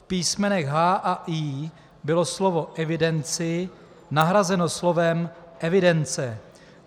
V písmenech h) a i) bylo slovo "evidenci" nahrazeno slovem "evidence".